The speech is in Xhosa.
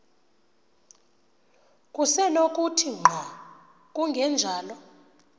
kusenokuthi ngqo kungenjalo